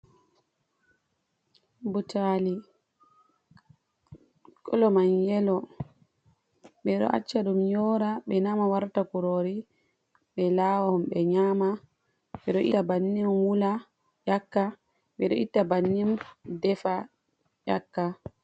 Butali kolo man yelo, ɓeɗo acca ɗum yora ɓe nama warta kurori ɓe lawa ɓe nyama, ɓe ɗo ita bannin wula yaka, ɓeɗo itta bannin defa yaka.